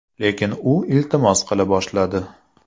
Lekin u iltimos qila boshladi.